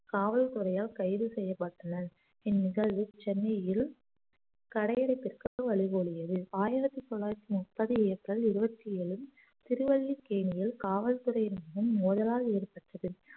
காவல்துறையால் கைது செய்யப்பட்டனர் இந்நிகழ்வு சென்னையில் கடையடைப்பிற்கு வழிமொழியது ஆயிரத்தி தொள்ளாயிரத்தி முப்பது ஏப்ரல் இருவத்தி ஏழில் திருவல்லிக்கேணியில் காவல்துறையினர் முன் மோதலால் ஏற்பட்டது